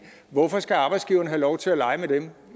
hvorfor skal arbejdsgivere have lov til at lege med dem